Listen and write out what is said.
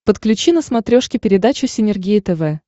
подключи на смотрешке передачу синергия тв